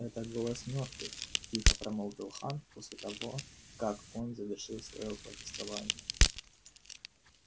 это голос мёртвых тихо промолвил хан после того как он завершил своё повествование